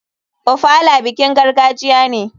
Ofala bikin gargajiya ne.